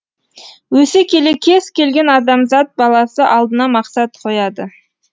өсе келе кез келген адамзат баласы алдына мақсат қояды